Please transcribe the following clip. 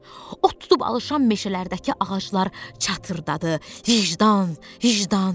Od tutub alışan meşələrdəki ağaclar çatırdadı: "Vicdan, vicdan!"